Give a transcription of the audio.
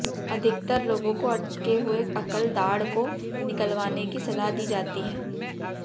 अधिकतर लोगों को अटके हुए अकल दाढ को निकलवाने की सलाह दी जाती है